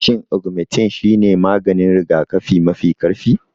Shin Ogmentin shine maganin rigakafi mafi ƙarfi?